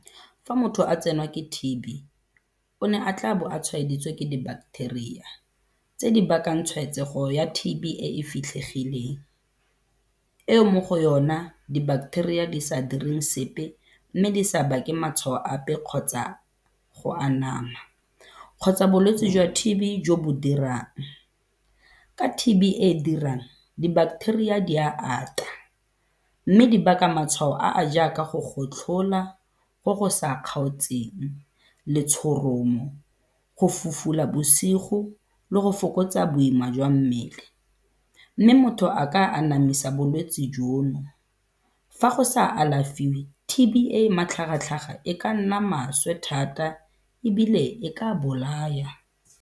Fa motho a tsenwa ke T_B, o ne a tlabo a tshwaeditswe ke di-bacteria tse di bakang tshwaetsego ya T_B e fitlhegileng, eo mo go yona di-bacteria di sa direng sepe mme di sa bake matshwao ape kgotsa go anama kgotsa bolwetse jwa T_B jo bo dirang. Ka T_B e e dirang di-bacteria di ya ata mme di baka matshwao a a jaaka go gotlhola go go sa kgaotseng, letshoromo, go fufula bosigo le go fokotsa boima jwa mmele, mme motho a ka anamisa bolwetsi jono. Fa go sa alafiwe T_B e e matlhagatlhaga e ka nna maswe thata ebile e ka bolaya.